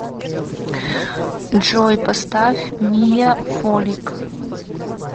джой поставь мия фолик